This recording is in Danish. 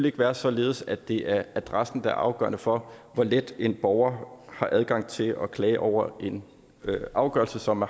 ikke være således at det er adressen der er afgørende for hvor let en borger har adgang til at klage over en afgørelse som